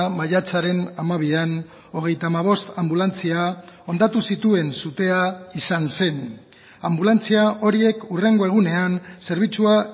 maiatzaren hamabian hogeita hamabost anbulantzia hondatu zituen sutea izan zen anbulantzia horiek hurrengo egunean zerbitzua